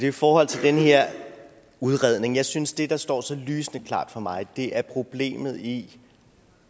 i forhold til den her udredning jeg synes at det der står så lysende klart for mig er problemet i